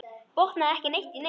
Botnaði ekki neitt í neinu.